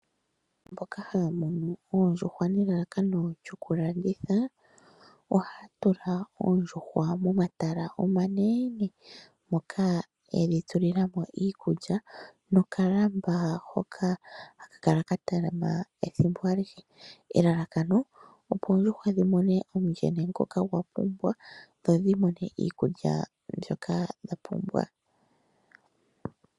Mboka haya munu oondjuhwa nelalakano lyoku landitha, ohaya tula oondjuhwa momatala omanene, moka yedhi tulila mo iikulya nokalamba hoka haka kala ka talama ethimbo alihe, elalakano opo oondjuhwa dhi mone omundjene ngoka dha pumbwa, dho dhi mone iikulya mbyoka dha pumbwa.